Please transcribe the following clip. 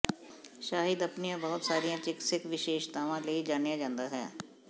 ਸ਼ਹਿਦ ਆਪਣੀਆਂ ਬਹੁਤ ਸਾਰੀਆਂ ਚਿਕਿਤਸਕ ਵਿਸ਼ੇਸ਼ਤਾਵਾਂ ਲਈ ਜਾਣਿਆ ਜਾਂਦਾ ਹੈ